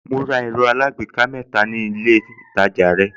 Mo ra ẹ̀rọ alágbèéká mẹ́ta ni mo rà nílé ìtajà rẹ̀